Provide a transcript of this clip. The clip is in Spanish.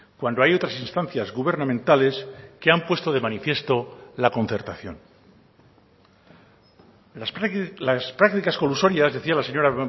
cuando hay otras instancias gubernamentales que han puesto de manifiesto la concertación las prácticas colusorias decía la señora